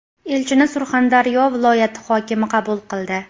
Elchini Surxondaryo viloyati hokimi qabul qildi.